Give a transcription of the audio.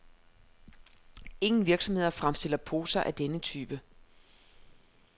Ingen virksomheder fremstiller poser af denne type.